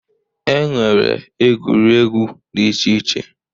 E nwere egwuregwu dị iche iche.